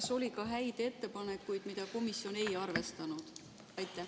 Kas oli ka häid ettepanekuid, mida komisjon ei arvestanud?